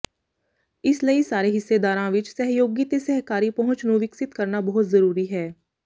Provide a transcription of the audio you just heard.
ਇਸ ਲਈ ਸਾਰੇ ਹਿੱਸੇਦਾਰਾਂ ਵਿੱਚ ਸਹਿਯੋਗੀ ਤੇ ਸਹਿਕਾਰੀ ਪਹੁੰਚ ਨੂੰ ਵਿਕਸਿਤ ਕਰਨਾ ਬਹੁਤ ਜ਼ਰੂਰੀ ਹੈ